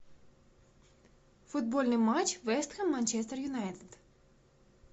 футбольный матч вест хэм манчестер юнайтед